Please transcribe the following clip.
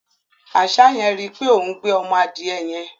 Àṣá yẹn rí í pé òún gbé ọmọ adìẹ yẹn.